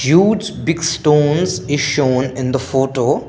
huge big stones is shown in the photo.